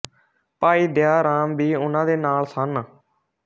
ਭਾਈ ਦਇਆ ਰਾਮ ਵੀ ਉਨ੍ਹਾਂ ਦੇ ਨਾਲ ਸਨ